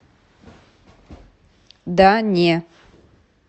да не